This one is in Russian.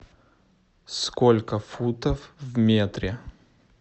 сколько футов в метре